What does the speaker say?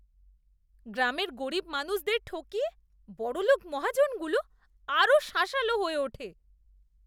গ্রামের গরীব মানুষদের ঠকিয়ে বড়লোক মহাজনগুলো আরও শাঁসালো হয়ে ওঠে!